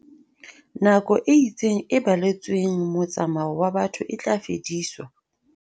Nako e itseng e baletsweng motsa-mao wa batho e tla fediswa.